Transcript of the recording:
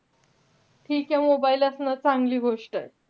ठीके mobile असणं चांगली गोष्टय.